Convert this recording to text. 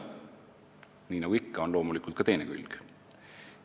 Nii nagu ikka, on medalil loomulikult ka teine külg.